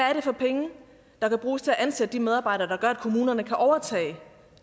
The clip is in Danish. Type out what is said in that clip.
er det for penge der kan bruges til at ansætte de medarbejdere der gør at kommunerne kan overtage